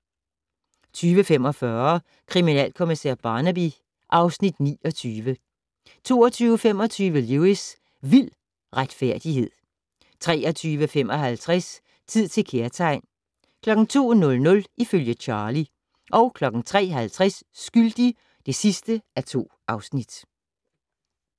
20:45: Kriminalkommissær Barnaby (Afs. 29) 22:25: Lewis: Vild retfærdighed 23:55: Tid til kærtegn 02:00: Ifølge Charlie 03:50: Skyldig (2:2)